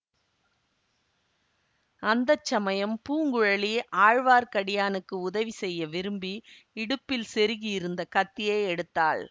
அந்த சமயம் பூங்குழலி ஆழ்வார்க்கடியானுக்கு உதவி செய்ய விரும்பி இடுப்பில் செருகியிருந்த கத்தியை எடுத்தாள்